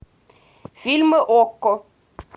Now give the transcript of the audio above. фильмы окко